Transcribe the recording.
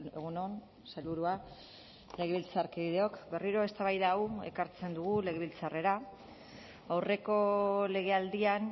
egun on sailburua legebiltzarkideok berriro eztabaida hau ekartzen dugu legebiltzarrera aurreko legealdian